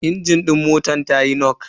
Injin din motar tayi nok.